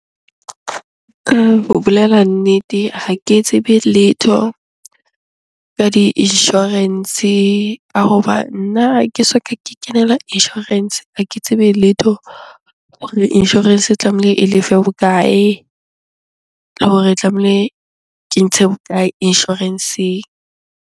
Ka ho bolela nnete, ha ke tsebe letho ka di-insurance ka hoba nna ha ke soka ke kenela insurance. Ha ke tsebe letho hore insurance e tlamehile e lefe bokae? Le hore tlamehile ke ntshe bokae insurance-eng?